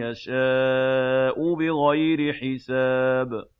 يَشَاءُ بِغَيْرِ حِسَابٍ